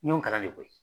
N y'o kalan de koyi